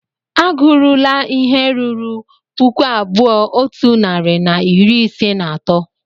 A gụrula ihe ruru puku abụọ otu narị na iri ise na atọ!